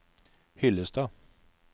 Hyllestad